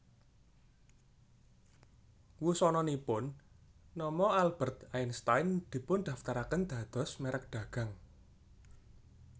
Wusananipun nama Albert Einstein dipundaftaraken dados merk dagang